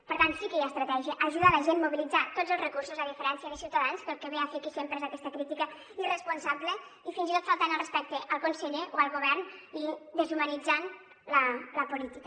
per tant sí que hi ha estratègia ajudar la gent mobilitzar tots els recursos a diferència de ciutadans que el que ve a fer aquí sempre és aquesta crítica irresponsable i fins i tot faltant al respecte al conseller o al govern i deshumanitzant la política